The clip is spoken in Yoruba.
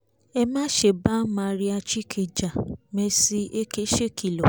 ẹ má ṣe bá maria chicke ja mercy èké ṣèkìlọ̀